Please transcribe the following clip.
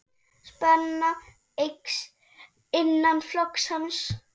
Spenna eykst innan flokks hans.